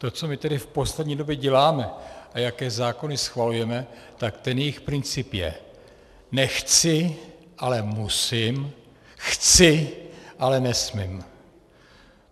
To, co my tady v poslední době děláme a jaké zákony schvalujeme, tak ten jejich princip je: Nechci, ale musím, chci, ale nesmím.